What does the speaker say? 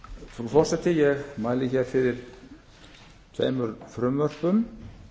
frú forseti ég mæli hér fyrir tveimur frumvörpum